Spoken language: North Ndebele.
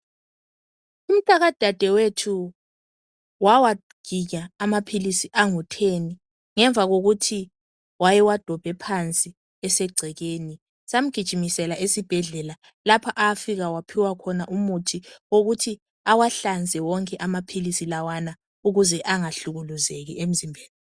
Umtaka dadewethu wawaginya amaphilisi alitshumi ngemva kokuthi wayewadobhe phansi esegcekeni samgijimisela esibhedlela lapho owafika waphiwa khona umuthi wokuthi awahlanze wonke amaphilisi lawana ukuze angahlukuluzeki emzimbeni.